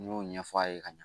N y'o ɲɛfɔ a ye ka ɲa